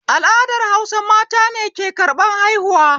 Al'adar Hausa mata ne ke karɓar haihuwa